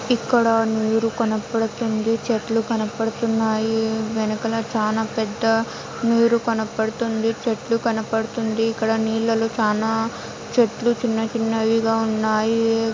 ఇక్కడ నీరు కనబడుతుంది చెట్లు కనపడుతున్నాయి వెనకన చాలా పెద్ద నీరు కనపడుతుంది చెట్లు కనపడుతుంది ఇక్కడ నీళ్లలో చానా చెట్లు చిన్న చిన్నవిగా ఉన్నాయి.